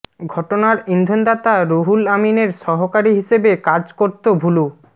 ঘটনার ইন্ধনদাতা রুহুল আমিনের সহকারী হিসেবে কাজ করত ভুলু